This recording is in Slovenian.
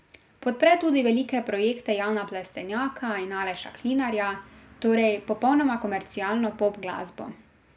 Podpre tudi velike projekte Jana Plestenjaka in Aleša Klinarja, torej popolnoma komercialno pop glasbo.